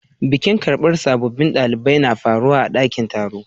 Bikin karban sabobin dalibai na faruwa a'dakin taro.